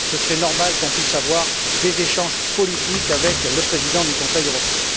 Il serait normal que nous puissions avoir des échanges politiques avec le Président du Conseil européen.